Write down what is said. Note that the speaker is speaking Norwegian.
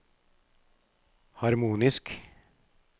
harmonisk